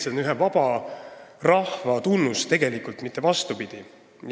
See on tegelikult ühe vaba rahva tunnus, mitte vastupidi.